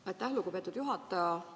Aitäh, lugupeetud juhataja!